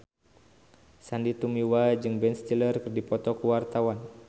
Sandy Tumiwa jeung Ben Stiller keur dipoto ku wartawan